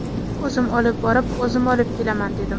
O‘zim olib borib, o‘zim olib kelaman”, dedim.